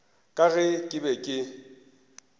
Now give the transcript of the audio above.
ka ge ke be ke